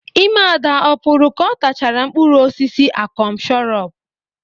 Ime Ada ọ pụrụ ka ọ tachara mkpụrụ osisi akọm shọrọp?